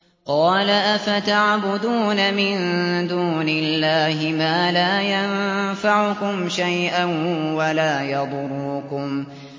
قَالَ أَفَتَعْبُدُونَ مِن دُونِ اللَّهِ مَا لَا يَنفَعُكُمْ شَيْئًا وَلَا يَضُرُّكُمْ